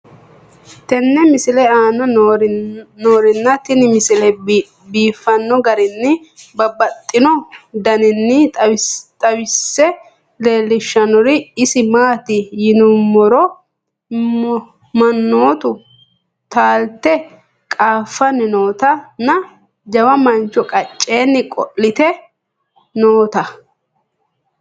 tenne misile aana noorina tini misile biiffanno garinni babaxxinno daniinni xawisse leelishanori isi maati yinummoro manoottu taalitte qaaffanni nootta nna jawa mancho qaceenni qo'litte nootta::